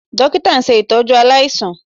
Dókítà ń ṣe ìtọ́jú aláìsàn